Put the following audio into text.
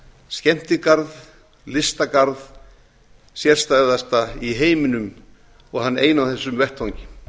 skemmtigarð listagarð sérstæðasta í heiminum og hann eina á þessum vettvangi